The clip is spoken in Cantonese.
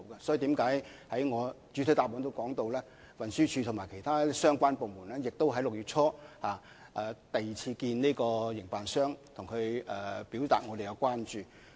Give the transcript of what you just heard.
所以，我已在主體答覆中提到，運輸署及其他相關部門已在6月初與營辦商進行第二次會面，表達我們的關注。